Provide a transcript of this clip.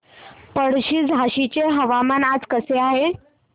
पळशी झाशीचे हवामान आज कसे आहे